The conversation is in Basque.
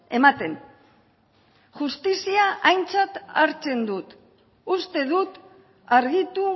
ematen justizia aintzat hartzen dut uste dut argitu